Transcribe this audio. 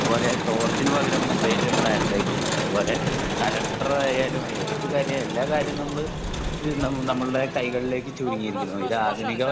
അതുപോലെ ടോർച്ചിനു പകരം മൊബൈലിൽ ഫ്ലാഷ് ലൈറ്റ് ഉണ്ട് അതുപോലെ കലണ്ടറായാലും ഏത് കാര്യമായാലും നമ്മൾ എല്ലാ കാര്യങ്ങളും നമ്മൾ നമ്മുടെ കൈകളിലേക്ക് ചുരുങ്ങിയിരിക്കുന്നു ഇത് ആധുനിക